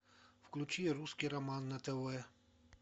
включи русский роман на тв